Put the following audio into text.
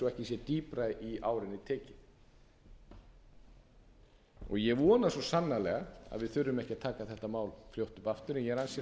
ekki sé dýpra í árinni tekið ég vona svo sannarlega að við þurfum ekki að taka þetta mál fljótt upp aftur en ég er ansi